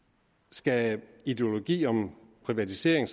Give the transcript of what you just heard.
skal en ideologi om privatisering